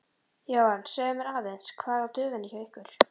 Jóhann: Segðu mér aðeins, hvað er á döfinni hjá ykkur?